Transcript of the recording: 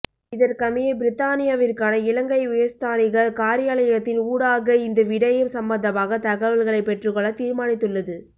இதற்கமைய பிரித்தானியாவிற்கான இலங்கை உயர்ஸ்தானிகர் காரியாலயத்தின் ஊடாக இந்த விடயம் சம்பந்தமாக தகவல்களை பெற்றுக்கொள்ள தீர்மானித்துள்ளது